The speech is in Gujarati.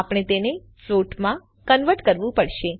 આપણે તેને ફ્લોટમાં કન્વર્ટ કરવું પડશે